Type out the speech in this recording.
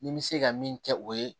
Ni n bɛ se ka min kɛ o ye